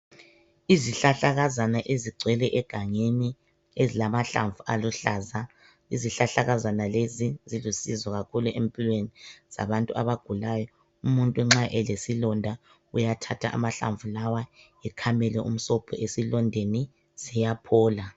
Izihlahlakazana ezigcwele egangeni ezilamahlamvu aluhlaza izihlahlakazana lezi zilusizo kakhulu empilweni zabantu abagulayo umuntu nxa elesilonda uyathatha amahlamvu lawa ekhamele umsobho esilondeni siyaphola